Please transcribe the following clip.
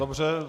Dobře.